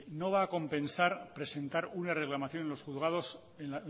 no va a compensar presentar una reclamación en los juzgados en